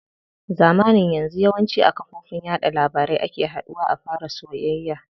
Zamanin yanzu yawanci a kafofin yaɗa labarai ake haduwa a fara soyayya.